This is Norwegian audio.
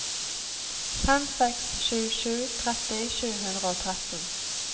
fem seks sju sju tretti sju hundre og tretten